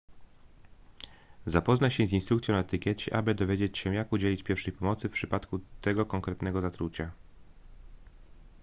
zapoznaj się z instrukcją na etykiecie aby dowiedzieć się jak udzielić pierwszej pomocy w przypadku tego konkretnego zatrucia